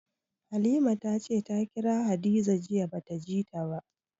Halima ta ce ta kira Hadiza jiya ba ta ji ta ba.